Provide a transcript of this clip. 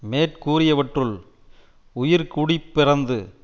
மேற்கூறியவற்றுள் உயர் குடிப்பிறந்து